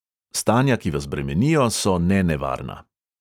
Stanja, ki vas bremenijo, so nenevarna.